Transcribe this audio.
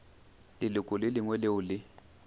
leloko le lengwe leo le